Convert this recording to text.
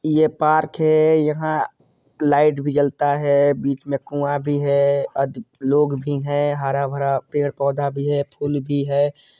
ये पार्क है यहाँ लाइट भी जलता है बिच में कुआ भी अधिक लोग भी है हरा-भरा पेड़-पौधा भी है फुल भी है।